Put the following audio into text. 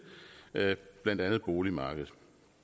blandt andet boligmarkedet